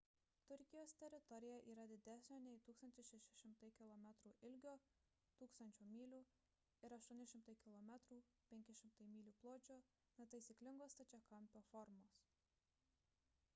turkijos teritorija yra didesnio nei 1 600 kilometrų ilgio 1 000 mylių ir 800 km 500 mylių pločio netaisyklingo stačiakampio formos